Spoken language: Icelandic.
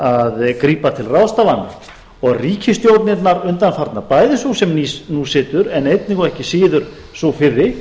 að grípa til ráðstafana ríkisstjórnirnar undanfarnar bæði sú sem nú situr en einnig og ekki síður sú fyrri